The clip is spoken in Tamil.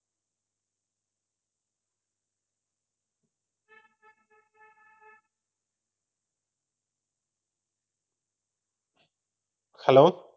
hello